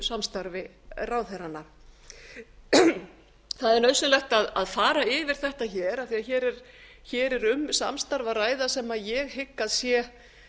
samstarfi ráðherranna það er nauðsynlegt að fara yfir þetta hér af því að hér er um samstarf að ræða sem ég hygg að sé